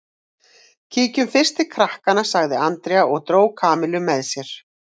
Kíkjum fyrst til krakkanna sagði Andrea og dró Kamillu með sér.